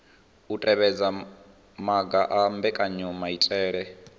u tevhedza maga a mbekanyamaitele